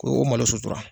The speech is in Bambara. Ko o malo sutura